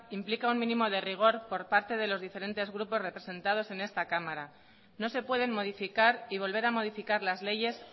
implica un mínimo de rigor por parte de los diferentes grupos representados en esta cámara no se pueden modificar y volver a modificar las leyes